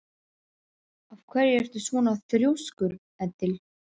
Af hverju ertu svona þrjóskur, Edil?